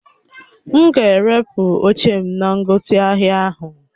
M ga-erepụ oche m na ngosi ahia ahụ.